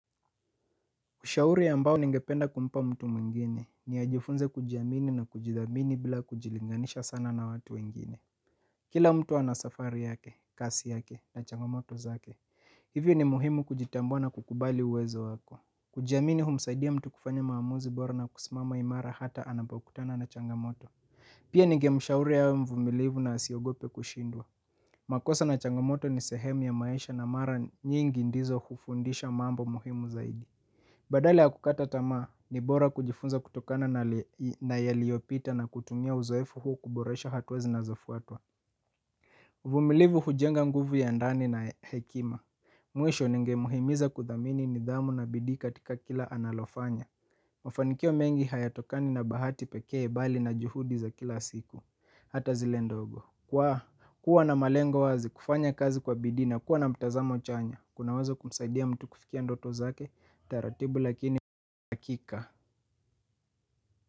Ushauri ambao ningependa kumpa mtu mwingine ni ajifunze kujiamini na kujidhamini bila kujilinganisha sana na watu wengine. Kila mtu ana safari yake, kasi yake na changamoto zake, hivyo ni muhimu kujitambua na kukubali uwezo wako. Kujiamini humsaidia mtu kufanya maamuzi bora na kusimama imara hata anapokutana na changamoto. Pia ningemshauri awe mvumilivu na asiogope kushindwa. Makosa na changamoto ni sehemu ya maisha na mara nyingi ndizo hufundisha mambo muhimu zaidi. Badala ya kukata tamaa ni bora kujifunza kutokana na yaliyopita na kutumia uzoefu huu kuboresha hatua zinazofuatwa. Uvumilivu hujenga nguvu ya ndani na hekima. Mwisho ningemhimiza kudhamini nidhamu na bidii katika kila analofanya. Mafanikio mengi hayatokani na bahati peke bali na juhudi za kila siku. Hata zile ndogo kwa kuwa na malengo wazi kufanya kazi kwa bidii na kuwa na mtazamo chanya kuna weza kumsaidia mtu kufikia ndoto zake taratibu lakini akika.